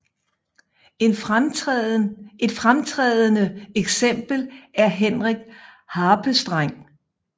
Et fremtrædende eksempel er Henrik Harpestreng